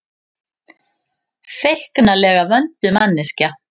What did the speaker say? Feiknalega vönduð manneskja.